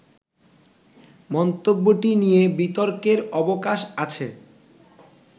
মন্তব্যটি নিয়ে বিতর্কের অবকাশ আছে